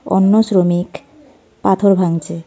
অন্য শ্রমিক পাথর ভাঙছে .